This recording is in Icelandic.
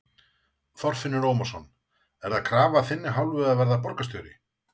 Þorfinnur Ómarsson: Er það krafa af þinni hálfu að verða borgarstjóri?